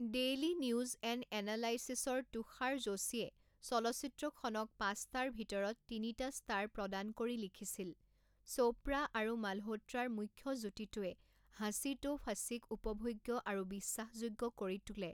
Daily news and এনালাইচিছৰ তুষাৰ যোশীয়ে চলচ্চিত্ৰখনক পাঁচটাৰ ভিতৰত তিনিটা ষ্টাৰ প্ৰদান কৰি লিখিছিল, চোপ্ৰা আৰু মালহোত্ৰাৰ মুখ্য যুটিটোৱে হাসি তো ফাচিক উপভোগ্য আৰু বিশ্বাসযোগ্য কৰি তোলে।